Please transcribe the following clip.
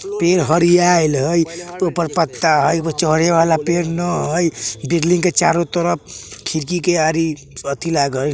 पेड़ हरियाईल हई ऊपर पत्ता हई एगो चढे वाला पेड़ न हई बिल्डिंग के चारो तरफ खिडकी के आरी अथि लागइल --